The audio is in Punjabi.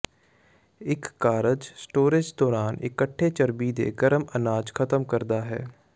ਇੱਕ ਕਾਰਜ ਸਟੋਰੇਜ਼ ਦੌਰਾਨ ਇਕੱਠੇ ਚਰਬੀ ਦੇ ਗਰਮ ਅਨਾਜ ਖਤਮ ਕਰਦਾ ਹੈ